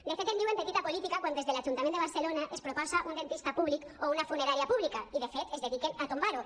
de fet en diuen petita política quan des de l’ajuntament de barcelona es proposa un dentista públic o una funerària pública i de fet es dediquen a tombar ho